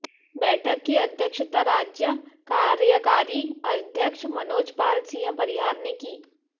बैठक की अध्यक्षता राज्य कार्यकारी अध्यक्ष मनोज पाल सिंह परिहार ने की